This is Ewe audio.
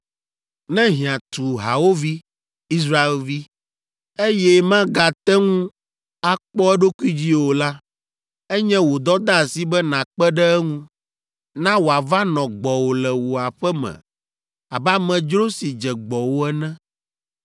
“ ‘Ne hiã tu hawòvi, Israelvi, eye magate ŋu akpɔ eɖokui dzi o la, enye wò dɔdeasi be nàkpe ɖe eŋu. Na wòava nɔ gbɔwò le wò aƒe me abe amedzro si dze gbɔwò ene.